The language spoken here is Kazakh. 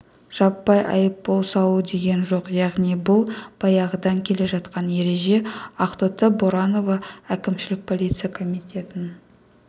жаппай айыппұл салу деген жоқ яғни бұл баяғыдан келе жатқан ереже ақтоты боранова әкімшілік полиция комитетінің